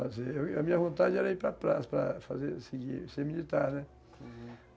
ou A minha vontade era ir para praça, para fazer, seguir, ser militar, né? Uhum.